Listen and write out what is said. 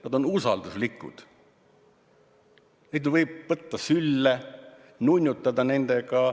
Nad on usalduslikud, neid võib võtta sülle, nunnutada nendega.